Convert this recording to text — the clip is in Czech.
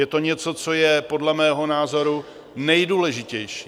Je to něco, co je podle mého názoru nejdůležitější.